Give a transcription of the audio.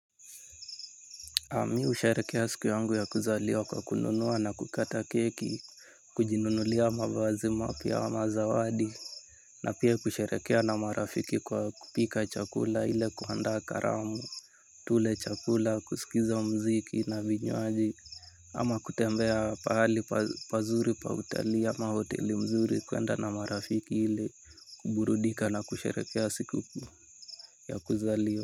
Mimi husharekea siku yangu ya kuzaliwa kwa kununua na kukata keki, kujinunulia mavazi mapya au zawadi. Na pia kusherekea na marafiki kwa kupika chakula ile kuandaa kalamu, tule chakula, kusikiliza muziki na vinywaji, ama kutembea pahali pazuri pa utalii ama hoteli mzuri kwenda na marafiki ili kuburudika na kusherekea siku ya kuzaliwa.